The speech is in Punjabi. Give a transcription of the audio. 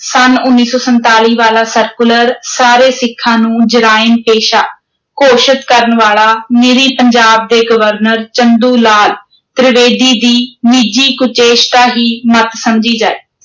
ਸੰਨ ਉੱਨੀ ਸੌ ਸੰਤਾਲੀ ਵਾਲਾ ਸਰਕੂਲਰ, ਸਾਰੇ ਸਿੱਖਾਂ ਨੂੰ ਜਰਾਇਮ-ਪੇਸ਼ਾ ਘੋਸ਼ਿਤ ਕਰਨ ਵਾਲਾ, ਨਿਰੀ ਪੰਜਾਬ ਦੇ ਗਵਰਨਰ, ਚੰਦੂ ਲਾਲ ਤ੍ਰਿਵੇਦੀ ਦੀ ਨਿੱਜੀ ਕੁਚੇਸ਼ਟਾ ਹੀ ਮੱਤ ਸਮਝੀ ਜਾਏ।